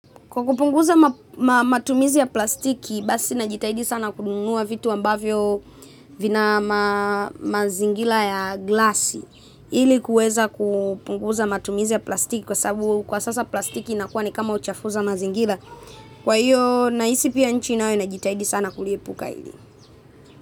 Kwa kupunguza matumizi ya plastiki, basi najitahidi sana kununua vitu ambavyo vina mazingira ya glasi. Ili kuweza kupunguza matumizi ya plastiki kwa sababu kwa sasa plastiki inakuwa ni kama uchafuzi wa mazingira. Kwa hiyo nahisi pia, nchi nayo inajitahidi sana kuliepuka hili.